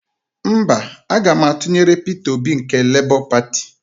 Mba, aga m atụnyere Peter Obi nke Lebọ Pati.